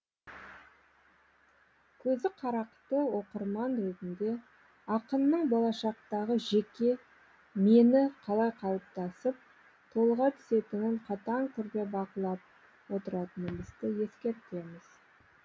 көзі қарақты оқырман ретінде ақынның болашақтағы жеке мені қалай қалыптасып толыға түсетінін қатаң түрде бақылап отыратынымызды ескертеміз